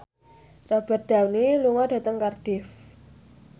Robert Downey lunga dhateng Cardiff